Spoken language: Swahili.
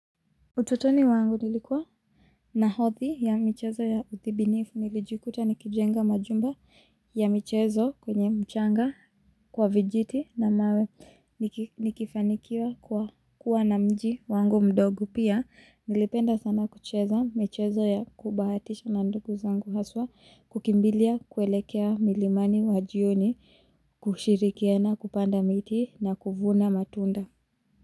Ututoni wangu nilikuwa na hadhi ya michezo ya utibiniifu nilijikuta nikijenga majumba ya michezo kwenye mchanga kwa vijiti na mawe nikifanikiwa kwa kuwa na mji wangu mdogo pia nilipenda sana kucheza michezo ya kubahatisha na ndugu zangu haswa kukimbilia kuelekea milimani wajioni kushirikiana kupanda miti na kuvuna matunda.